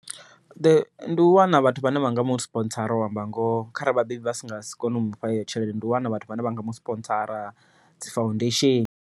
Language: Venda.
Ndi u wana vhathu vhane vhanga musipontsara u amba ngoho, kharali vhabebi vha si nga si kone u mufha heyo tshelede ndi u wana vhathu vhane vha nga musipontsara dzi foundation.